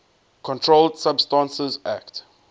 controlled substances acte